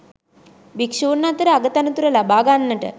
භික්‍ෂූන් අතර අග තනතුර ලබා ගන්නට